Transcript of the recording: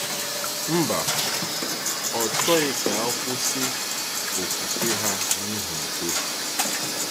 Mba, ọ chọghị ka ha kwụsị okwukwe ha n’ihi udo.